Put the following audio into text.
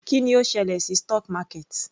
Kí ni ó ṣẹlẹ̀ sí stock market?